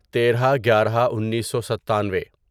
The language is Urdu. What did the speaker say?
تیرہ گیارہ انیسو ستانوے